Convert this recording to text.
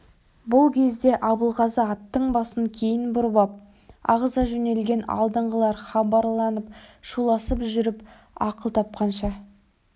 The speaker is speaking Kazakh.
бұл кезде абылғазы аттың басын кейін бұрып ап ағыза жөнелген алдыңғылар хабарланып шуласып жүріп ақыл тапқанша